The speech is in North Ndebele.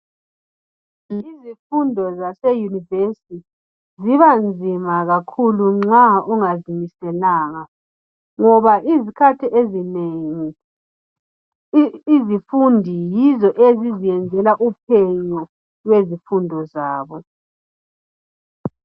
Izifundo zaseyunivesi, ziba nzima kakhulu nxa ungazimiselanga ngoba izikhathi ezinengi, abafundi yibo abazenzela uphenyo lwezifundo zabo.